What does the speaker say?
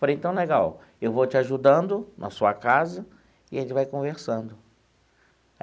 Falei, então, legal, eu vou te ajudando na sua casa e a gente vai conversando.